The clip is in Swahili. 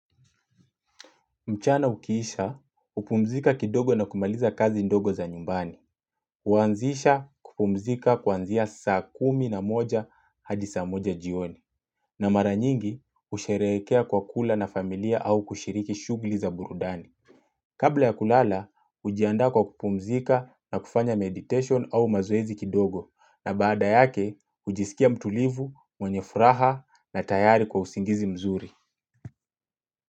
Mchana ukiisha, upumzika kidogo na kumaliza kazi ndogo za nyumbani. Huanzisha kupumzika kuanzia sasa kumi na moja hadi saa moja jioni. Na mara nyingi, usherekea kwa kula na familia au kushiriki shugli za burudani. Kabla ya kulala, ujianda kwa kupumzika na kufanya meditation au mazoezi kidogo. Na baada yake, ujisikia mtulivu, mwenye furaha na tayari kwa usingizi mzuri.